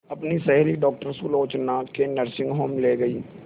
अपनी सहेली डॉक्टर सुलोचना के नर्सिंग होम में ली गई